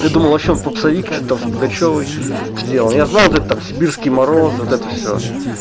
ты думал вообще он попсовик и что-то там с пугачёвой сделал я знал это там сибирские морозы вот это все